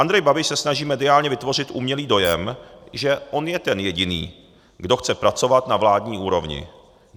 Andrej Babiš se snaží mediálně vytvořit umělý dojem, že on je ten jediný, kdo chce pracovat na vládní úrovni.